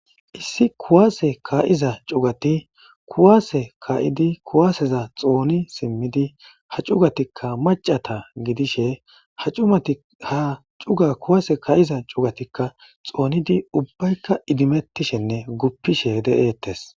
Issi kuwaase ka7iza cugati kuwaase kaa7idi kuwaaseza xooni simmidi ha cugatikka maccata gidishe ha cumati haa cuga kuwaase kaa7iza cugatikka xoonidi ubbaykka idimettishenne guppishe de7eettes.